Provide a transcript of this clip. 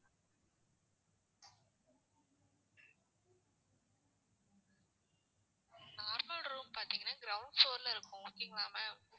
normal room பாத்தீங்கன்னா ground floor ல இருக்கும். okay ங்களா ma'am